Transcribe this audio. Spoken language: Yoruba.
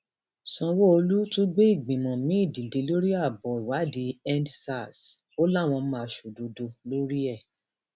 sanwóolu tún gbé ìgbìmọ miín dìde lórí abọ ìwádìíendsars ó láwọn máa ṣòdodo lórí ẹ